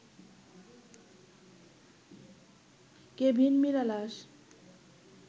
Kevin Mirallas